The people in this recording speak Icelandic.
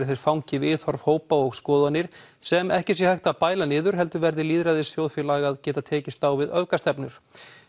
þeir fangi viðhorf hópa og skoðanir sem ekki sé hægt að bæla niður heldur verði lýðræðisþjóðfélag að geta tekist á við öfgastefnur